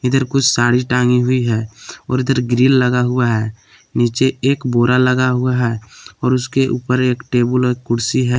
इधर कुछ साड़ी टांगी हुई है और इधर ग्रिल लगा हुआ है नीचे एक बोरा लगा हुआ है और उसके ऊपर एक टेबुल और कुर्सी है।